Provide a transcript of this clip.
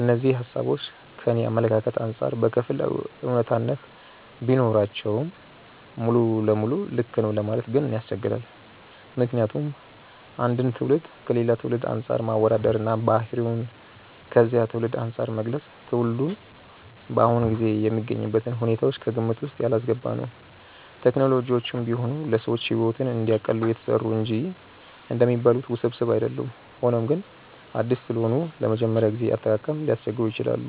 እነዚህ ሃሳቦች ከኔ አመለካከት አንጻር በከፊል አውነታነት ቢኖራቸውም ሙሉ ለሙሉ ልክ ነው ለማለት ግን ያስቸግራል። ምክንያቱም አንድን ትውልድ ከሌላ ትውልድ አንፃር ማወዳደር እና ባህሪውን ከዚያ ትውልድ አንፃር መግለጽ ትውልዱ በአሁኑ ጊዜ የሚገኝበትን ሁኔታዎች ከግምት ውስጥ ያላስገባ ነው። ቴክኖሎጂዎችም ቢሆኑ ለሰዎች ሕይወትን እንዲያቀሉ የተሰሩ እንጂ እንደሚባሉት ውስብስብ አይደሉም። ሆኖም ግን አዲስ ስለሆኑ ለመጀመሪያ ጊዜ አጠቃቀም ሊያስቸግሩ ይችላሉ።